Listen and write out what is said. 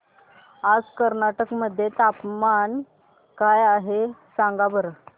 आज कर्नाटक मध्ये तापमान काय आहे सांगा बरं